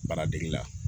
Baara degeli la